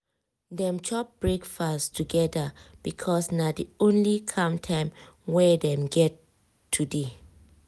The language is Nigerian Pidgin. dem chop breakfast together because na the only calm time wey dem get today.